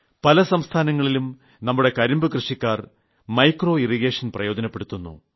പല സംസ്ഥാനങ്ങളിലും നമ്മുടെ കരിമ്പു കർഷകർ സൂക്ഷ്മജലസേചനം പ്രയോജനപ്പെടുത്തുന്നു